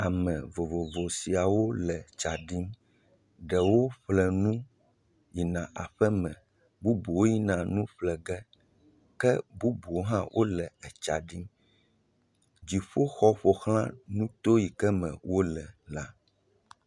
Ame vovovo siawo le tsaɖim. Ɖewo ƒle nu yina aƒeme, bubuwo yina nu ƒlege ke bubuwo hã wole tsaɖim. Dziƒo xɔ ƒo xlã nuto yi ke me wole la.